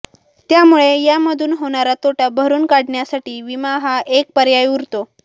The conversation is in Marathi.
त्यामुळे यामधून होणारा तोटा भरून काढण्यासाठी विमा हा एक पर्याय उरतो